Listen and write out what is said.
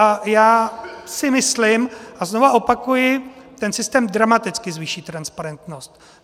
A já si myslím a znovu opakuji, ten systém dramaticky zvýší transparentnost.